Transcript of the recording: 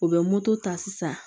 U bɛ moto ta sisan